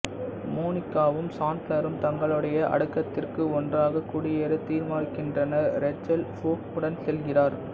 மோனிகாவும் சாண்ட்லரும் தங்களுடைய அடுக்ககத்திற்கு ஒன்றாக குடியேற தீர்மானிக்கின்றனர் ரேச்சல் ஃபோப் உடன் செல்கிறார்